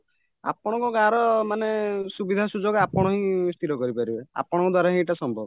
ଆପଣଙ୍କ ଗାଁର ମାନେ ସୁବିଧା ସୁଯୋଗ ଆପଣହିଁ ସ୍ଥିର କରିପାରିବେ ଆପଣଙ୍କ ଦ୍ଵାରାହିଁ ଏଇଟା ସମ୍ଭବ